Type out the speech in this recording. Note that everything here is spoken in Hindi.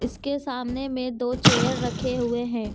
इसके सामने में दो चेयर रखे हुए हैं।